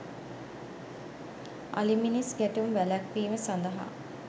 අලි මිනිස් ගැටුම් වැළැක්වීම සඳහා